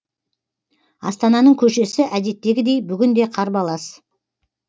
астананың көшесі әдеттегідей бүгін де қарбалас